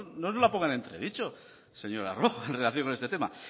no nos la pongan en entredicho señora rojo en relación con este tema